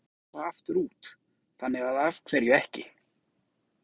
Stefnan var alltaf að fara aftur út, þannig að af hverju ekki?